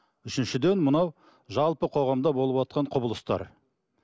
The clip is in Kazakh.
үшіншіден мынау жалпы қоғамда болыватқан құбылыстар